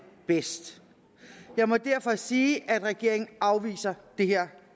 bedst jeg må derfor sige at regeringen afviser det her